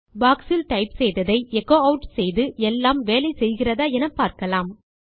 box இல் type செய்ததை echo add செய்து எல்லாம் வேலை செய்கிறதா எனப்பார்க்கலாம்